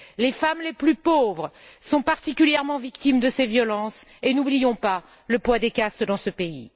Les femmes les plus pauvres sont particulièrement victimes de ces violences, et n'oublions pas le poids des castes dans ce pays.